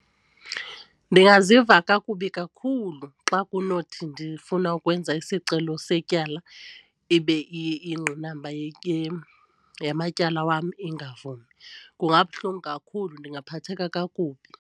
Ndingaziva kakubi kakhulu xa kunothi ndifuna ukwenza isicelo setyala ibe igqinamba yamatyala wam ingavumi. Kungabuhlungu kakhulu ndingaphatheka kakubi.